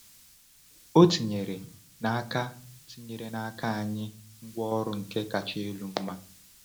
O tinyere n’aka tinyere n’aka anyị ngwaọrụ nke kacha elu mma.